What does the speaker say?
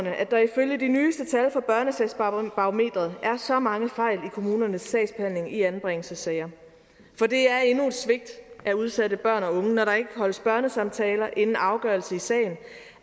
at der ifølge de nyeste tal fra børnesagsbarometeret er så mange fejl i kommunernes sagsbehandling i anbringelsessager for det er endnu et svigt af udsatte børn og unge når der ikke holdes børnesamtaler inden afgørelse i sagen